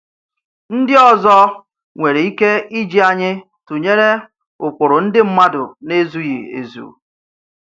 Ndì òzò nwere ike ìjì ànyì tụnyere ụ̀kpụrụ ndì mmadụ nà-ezughì ezu.